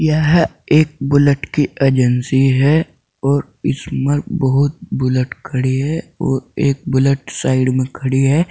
यह एक बुलेट की एजेंसी है और इसमें बहुत बुलेट खड़ी है और एक बुलेट साइड में खड़ी है।